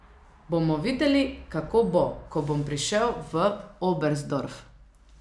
Bomo videli, kako bo, ko bom prišel v Oberstdorf.